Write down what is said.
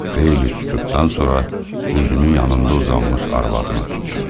Xeyli sükutdan sonra üzünü yanında uzanmış arvadına tutdu.